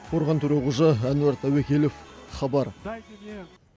қорған төреқожа әнуар тәуекелов хабар